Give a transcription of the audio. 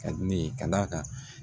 Ka di ne ye ka d'a kan